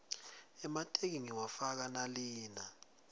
emateki ngiwafaka nalina